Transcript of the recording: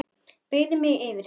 Beygði mig yfir hana.